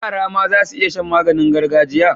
Yara ma zasu iya Shan maganin gargajiya